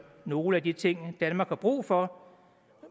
nogle af de ting danmark har brug for